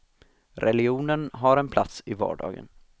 Religionen har en plats i vardagen.